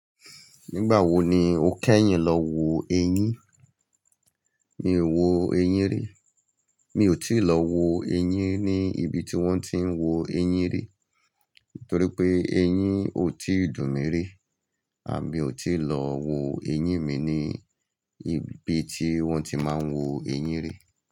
Nígbà wo ni o kẹ́yìn lọ wo eyín? Mi ò wo eyín rí. Mi ò tíì lọ wo eyín ní ibi tí wọ́n ti ń wo eyín rí, torí pé eyín ò tí dùn mi rí. Àbí mi ò tíì lọ wo eyín mi ní ibi tí wọ́n ti máa ń wo eyín rí.